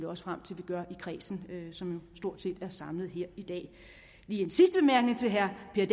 også frem til vi gør i kredsen som stort set er samlet her i dag lige en sidste bemærkning til herre per